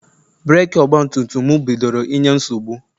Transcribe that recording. breeki Ọgbatumtum mụ bidoro inye nsogbu..